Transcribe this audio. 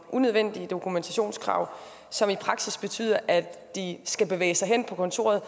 unødvendige dokumentationskrav som i praksis betyder at de skal bevæge sig hen på kontoret